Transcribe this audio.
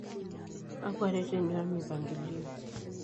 Kakwa ireteni omipankilio?